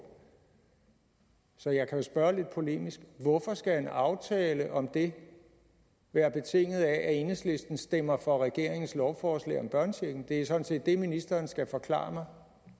så jeg kan jo spørge lidt polemisk hvorfor skal en aftale om det være betinget af at enhedslisten stemmer for regeringens lovforslag om børnechecken det er sådan set det ministeren skal forklare